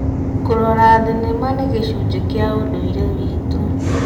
Kũrora thenema nĩ gĩcunjĩ kĩa ũndũire witũ.